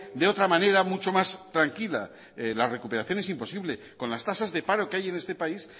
de otra manera mucho más tranquila la recuperación es imposible con las tasas de paro que hay en este país